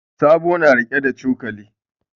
Sabo na riƙe da cokali.